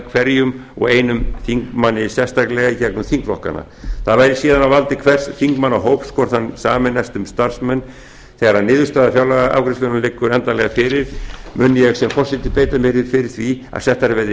hverjum og einum þingmanni sérstaklega í gegnum þingflokkana það væri síðan á valdi hvers þingmannahóps hvort hann sameinaðist um starfsmann þegar niðurstaða fjárlagaafgreiðslunnar liggur endanlega fyrir mun ég sem forseti beita mér fyrir því að settar verði